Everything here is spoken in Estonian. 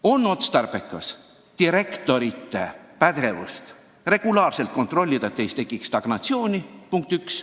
On otstarbekas direktorite pädevust regulaarselt kontrollida, et ei tekiks stagnatsiooni – punkt üks.